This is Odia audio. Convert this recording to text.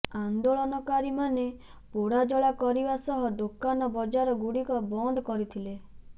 ଆନ୍ଦୋଳନକାରୀମାନେ ପୋଡ଼ାଜଳା କରିବା ସହ ଦୋକାନ ବଜାର ଗୁଡ଼ିକ ବନ୍ଦ କରିଥିଲେ